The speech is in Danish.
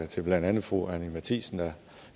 til blandt andet fru anni matthiesen der